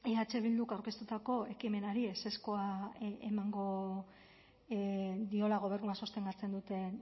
eh bilduk aurkeztutako ekimenari ezezkoa emango diola gobernua sostengatzen duten